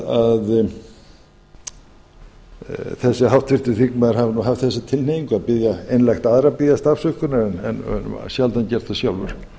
að þessi háttvirtur þingmaður hafi nú haft þessa tilhneigingu að biðja einlægt aðra að biðjast afsökunar en sjaldan gert það sjálfur